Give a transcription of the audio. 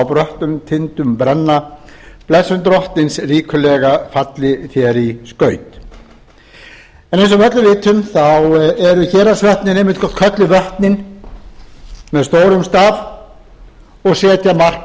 bröttum tindum brenna blessun drottins ríkulega falli þér í skaut eins og við öll vitum eru héraðsvötnin einmitt kölluð vötnin með stórum staf og setja mark